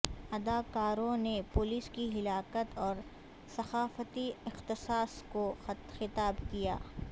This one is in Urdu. اداکاروں نے پولیس کی ہلاکت اور ثقافتی اختصاص کو خطاب کیا